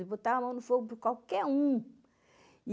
Eu botava a mão no fogo por qualquer um.